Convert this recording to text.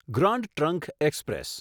grand Trunk express